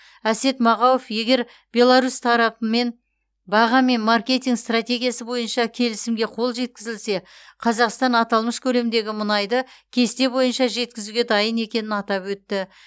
әсет мағауов егер беларусь тарапымен баға мен маркетинг стратегиясы бойынша келісімге қол жеткізілсе қазақстан аталмыш көлемдегі мұнайды кесте бойынша жеткізуге дайын екенін атап өтті